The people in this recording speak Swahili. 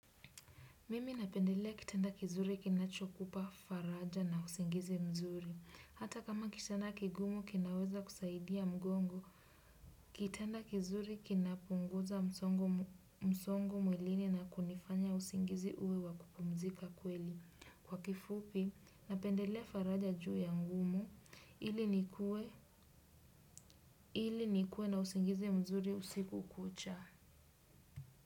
Mimi napendelea kitanda kizuri kina chokupa faraja na usingizi mzuri. Hata kama kitanda kigumu kinaweza kusaidia mgongo, kitanda kizuri kinapunguza msongo mwilini na kunifanya usingizi uwe wakupumzika kweli. Kwa kifupi, napendelea faraja juu ya mgumu ili nikuwe na usingizi mzuri usiku kucha.